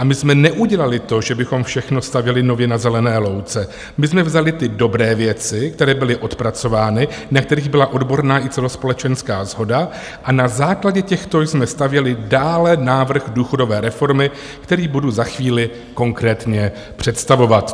A my jsme neudělali to, že bychom všechno stavěli nově na zelené louce, my jsme vzali ty dobré věci, které byly odpracovány, na kterých byla odborná i celospolečenská shoda, a na základě těchto jsme stavěli dále návrh důchodové reformy, který budu za chvíli konkrétně představovat."